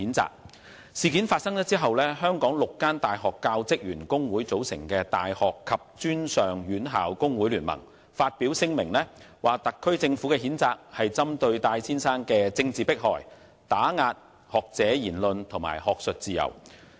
這宗事件發生後，由香港6間大學教職員工會組成的大學及專上院校工會聯盟發表聲明，指特區政府作出的譴責為針對戴先生的政治迫害，打壓學者言論及學術自由。